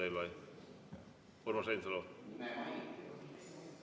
On või, Urmas Reinsalu?